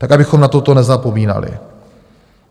Tak abychom na toto nezapomínali.